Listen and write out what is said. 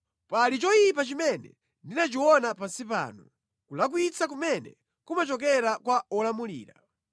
Pali choyipa chimene ndinachiona pansi pano, kulakwitsa kumene kumachokera kwa wolamulira: